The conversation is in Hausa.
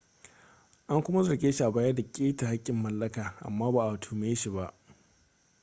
an kuma zarge shi a baya da keta haƙƙin mallaka amma ba a tuhume shi ba